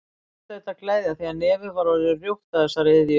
Margt hlaut að gleðja því nefið var orðið rjótt af þessari iðju.